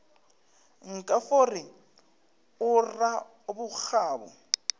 nka fo re o rabokgabo